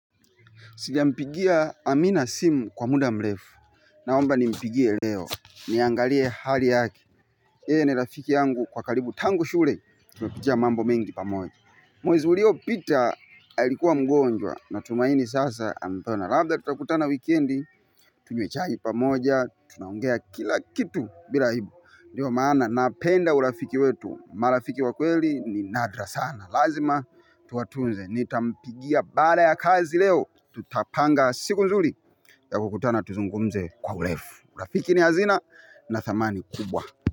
Sijampigia Amina simu kwa muda mrefu. Naomba ni mpigie leo. Niangalie hali yake yeye ni rafiki yangu kwa karibu tangu shule. Tumepitia mambo mengi pamoja. Mwezi uliopita alikuwa mgonjwa. Natumaini sasa amepona labda tutakutana weekend tunywe chai pamoja tunaongea kila kitu bila aibu ndio maana napenda urafiki wetu. Marafiki wa kweli ni nadra sana. Lazima tuwatunze. Nitampigia baada ya kazi leo. Tutapanga siku nzuri ya kukutana tuzungumze kwa urefu urafiki ni hazina na thamani kubwa.